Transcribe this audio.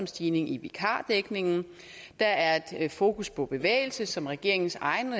stigning i vikardækningen der er fokus på bevægelse som regeringens egen